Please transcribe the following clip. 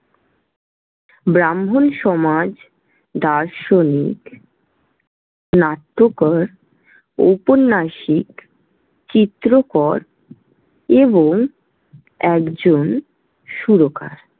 ব্রাহ্মণ সমাজ, দার্শনিক, নাট্যকর, উপন্যাসিক, চিত্রকর এবং একজন সুরকার।